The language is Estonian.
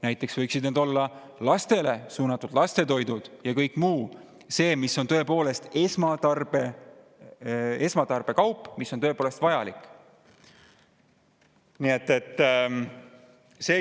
Näiteks võiksid need olla lastetoidud ja kõik muu, mis on tõepoolest esmatarbekaup, mis on tõepoolest vajalik.